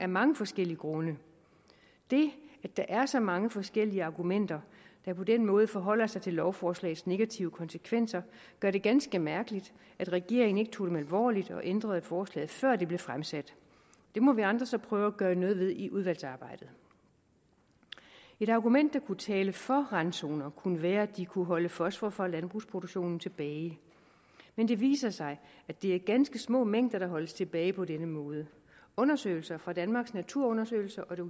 mange forskellige grunde det at der er så mange forskellige argumenter der på den måde forholder sig til lovforslagets negative konsekvenser gør det ganske mærkeligt at regeringen ikke tog dem alvorligt og ændrede forslaget før det blev fremsat det må vi andre så prøve at gøre noget ved i udvalgsarbejdet et argument der kunne tale for randzoner kunne være at de kunne holde fosfor fra landbrugsproduktionen tilbage men det viser sig at det er ganske små mængder der holdes tilbage på den måde undersøgelser fra danmarks naturundersøgelser og det